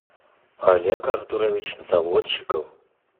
олег артурович заводчиков